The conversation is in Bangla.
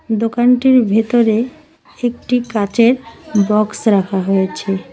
দোকানটির ভেতরে একটি কাচের বক্স রাখা হয়েছে।